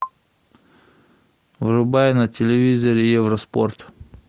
врубай на телевизоре евроспорт